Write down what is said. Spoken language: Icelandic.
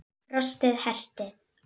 Frostið herti.